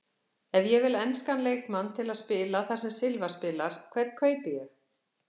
Ef ég vil enskan leikmann til að spila þar sem Silva spilar, hvern kaupi ég?